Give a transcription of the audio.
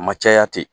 A ma caya ten